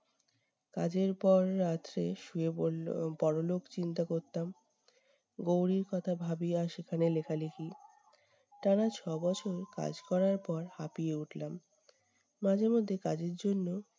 কাজের পর রাত শেষ শুয়ে পড়ল পরলোক চিন্তা করতাম গৌরির কথা ভাবিয়া সেখানে লেখালেখি। টানা ছবছর কাজ করার পর হাঁপিয়ে উঠলাম। মাঝেমধ্যে কাজের জন্য